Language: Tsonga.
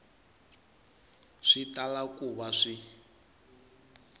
swi tala ku va swi